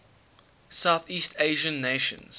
southeast asian nations